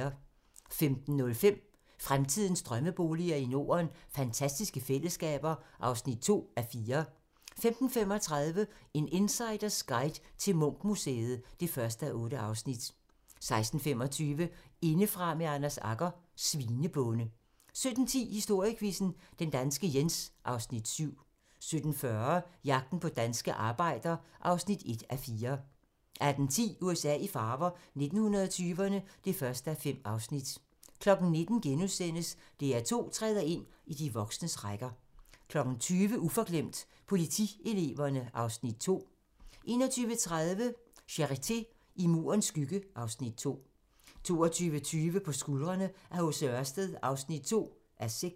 15:05: Fremtidens drømmeboliger i Norden: Fantastiske fællesskaber (2:4) 15:35: En insiders guide til Munch-museet (1:8) 16:25: Indefra med Anders Agger - Svinebonde 17:10: Historiequizzen: Den danske Jens (Afs. 7) 17:40: Jagten på den danske arbejder (1:4) 18:10: USA i farver - 1920'erne (1:5) 19:00: DR2 træder ind i de voksnes rækker * 20:00: Uforglemt: Politieleverne (Afs. 2) 21:30: Charité - I Murens skygge (Afs. 2) 22:20: På skuldrene af H.C. Ørsted (2:6)